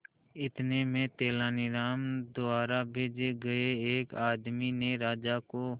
इतने में तेनालीराम द्वारा भेजे गए एक आदमी ने राजा को